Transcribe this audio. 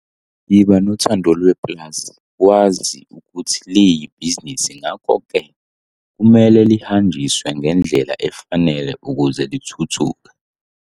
Yiba nothando lwepulazi, wazi ukuthi liyibhizinisi ngakho-ke kumele lihanjiswe ngendlela efanele ukuze lithuthuke.